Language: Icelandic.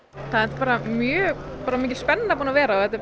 þetta er mjög mikil spenna búin að vera og